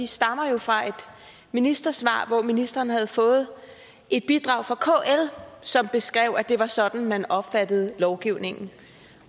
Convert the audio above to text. stammer jo fra et ministersvar hvor ministeren havde fået et bidrag fra kl som beskrev at det var sådan man opfattede lovgivningen